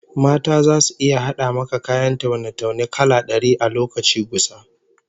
Mata zasu iya hada maka kayan taune-taune kala dari a lokaci gusa